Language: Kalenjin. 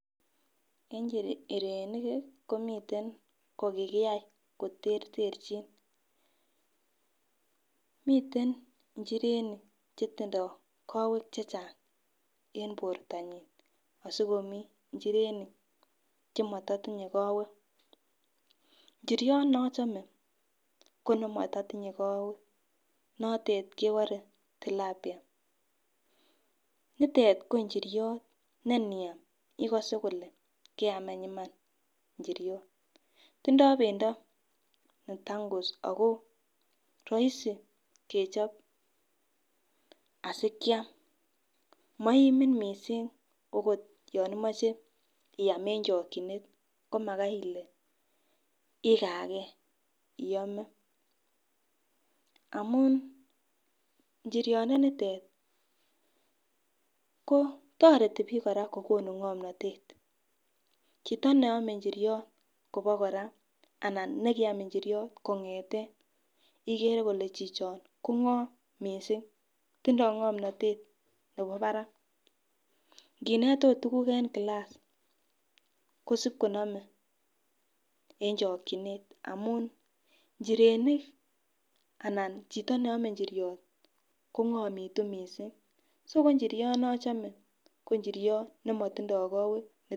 Eng' njirenik i, komitei che kikiyai koterterchin. Miten njirenik che tindai kawek che chang' en portonyi asikomi injirenik che mata tinye kawek. Njiryot ne achame ko ne mata tinye kawek, notet kepare Tilapia. Nitet ko njiryot ne niam ikase ile keam any iman njiryot. Tindai pendo ne tangus ako raisi kechop asi ke am. Ma iimin missing' akot yan imache iam eng' chakchinet ko maki ile ikaa ge iame amun njiryondenitet ko tareti pik kora ko konu ng'amnatet. Chito ne ame njiryot kopa kora anan ne kiam njiryot kong'ete ikere ile chicho kong'am missing'.Tindai ng'amnatet nepo parak. Nginet akot tuguk en klass, ko sip konamei eng' chakchinet amun njirenik anan chito ne ame njiryot kong'amitu missing'. So ko njiryot ne achame ko njiryot ne matinye kawek.